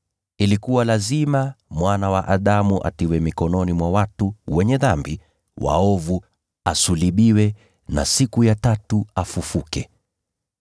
‘Ilikuwa lazima Mwana wa Adamu atiwe mikononi mwa watu wenye dhambi na waovu ili asulubiwe, na siku ya tatu afufuke.’ ”